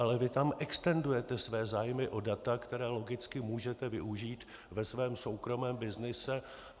Ale vy tam extendujete své zájmy o data, která logicky můžete využít ve svém soukromém byznyse.